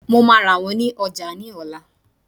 Màá rà wón ní ojà ní òla